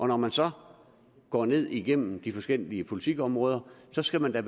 når man så går ned igennem de forskellige politikområder skal man da